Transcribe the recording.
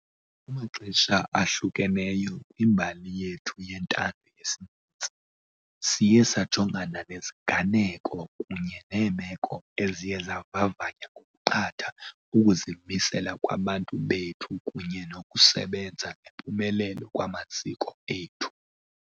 Kumaxesha ahlukeneyo kwimbali yethu yentando yesininzi, siye sajongana neziganeko kunye neemeko eziye zavavanya ngokuqatha ukuzimisela kwabantu bethu kunye nokusebenza ngempumelelo kwamaziko ethu.